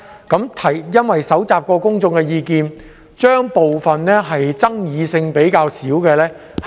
由於已蒐集公眾意見，所以會先行處理爭議性較少的修訂。